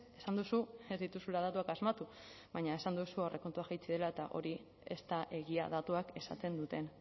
esan duzu ez dituzula datuak asmatu baina esan duzu aurrekontuak jaitsi direla eta hori ez da egia datuak esaten duten